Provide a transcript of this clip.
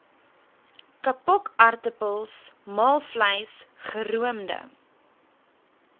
kapokaartappels maalvleis geroomde